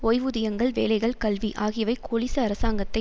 ஓய்வூதியங்கள் வேலைகள் கல்வி ஆகியவை கோலிச அரசாங்கத்தை